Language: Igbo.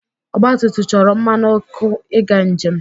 ọgbatumtum chọrọ mmanụ ọkụ i ga njem